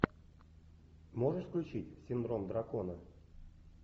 можешь включить синдром дракона